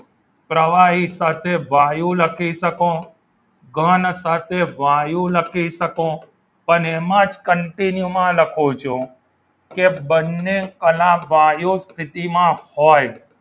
પ્રવાહી સાથે વાયુ લખી શકું ઘન સાથે વાયુ લખી શકું અને એમ જ continue માં લખું છું કે બંને કલા વાયુ સ્થિતિમાં હોય